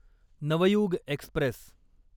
Navyug Express